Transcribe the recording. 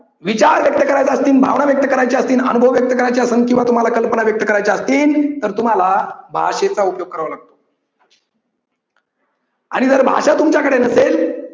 विचार व्यक्त करायचे असतील, भावना व्यक्त करायचे असतील, अनुभव व्यक्त करायचे असेल किंवा तुम्हाला कल्पना व्यक्त करायचे असतील तर तुम्हाला भाषेचा उपयोग करावा लागतो. आणि जर भाषा तुमच्याकडे नसेल